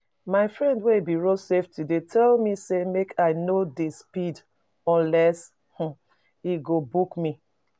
My friend wey be road safety dey tell me say make I no dey speed unless he go book me